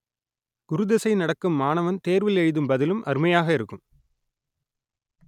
குரு திசை நடக்கும் மாணவன் தேர்வில் எழுதும் பதிலும் அருமையாக இருக்கும்